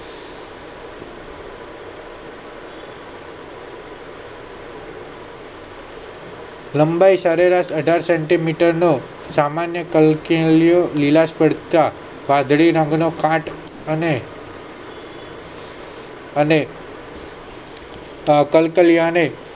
લંબાઈ સરેરાશ અઢાર centimeter નો સામાન્ય નો કલકલિયો લીલાશ પડતા વાદળી રંગ નો કાંટ અને અને તાપ કલ્કાલિયા ને